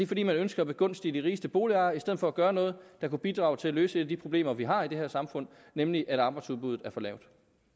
fordi man ønsker at begunstige de rigeste boligejere i stedet for at gøre noget der kunne bidrage til at løse et af de problemer vi har i det her samfund nemlig at arbejdsudbuddet er for lavt